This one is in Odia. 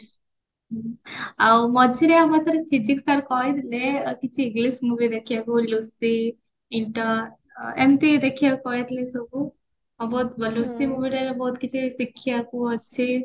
ଆଉ ମଝିରେ ଆମ ଥରେ physics sir କହିଥିଲେ କିଛି english movie ଦେଖିବାକୁ ଲୁସିଫ ଏମତି ଦେଖିବାକୁ କହିଥିଲେ ସବୁ ଲୁସିଫ movie ଟା ଏବେ ବହୁତ କିଛି ଶିଖିବାକୁ ଅଛି